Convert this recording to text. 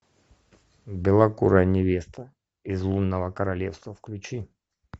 белокурая невеста из лунного королевства включи